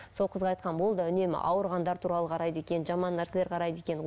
сол қызға айтқанмын ол да үнемі ауырғандар туралы қарайды екен жаман нәрселер қарайды екен